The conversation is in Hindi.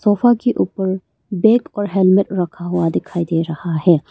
सोफा के ऊपर बैग और हेलमेट रखा हुआ दिखाई दे रहा है।